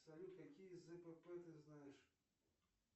салют какие зпп ты знаешь